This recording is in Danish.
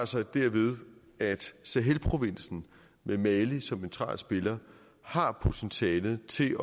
sig derved at sahelprovinsen med mali som central spiller har potentialet til